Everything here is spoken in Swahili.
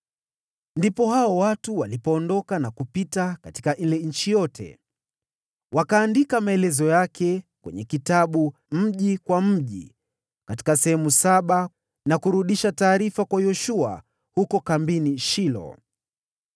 Ndipo hao watu walipoondoka na kupita katika ile nchi. Wakaandika maelezo yake kwenye kitabu, mji kwa mji, katika sehemu saba na kurudisha taarifa kwa Yoshua huko kambini Shilo.